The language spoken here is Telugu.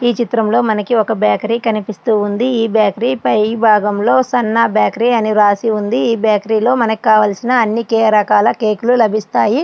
ఈ చిత్రంలో మనకి ఒక బేకరీ కనిపిస్తూ ఉంది. ఈ బేకరీ పై భాగంలో సన్ను బేకరీ అని రాసి ఉంది. ఇక్కడ కావలసిన అన్ని రకాల కేక్ లు ఇక్కడ లభిస్తాయి.